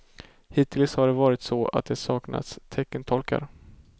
Hittills har det varit så, att det saknats teckentolkar.